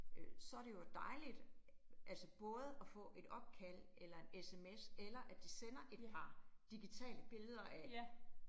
Øh så det jo dejligt, altså både at få et opkald eller en sms eller at de sender et par digitale billeder af